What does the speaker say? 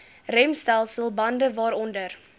remstelsel bande waaronder